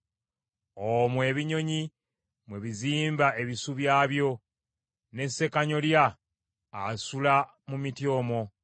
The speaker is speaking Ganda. Omwo ebinyonyi mwe bizimba ebisu byabyo; ne ssekanyolya asula mu miti omwo.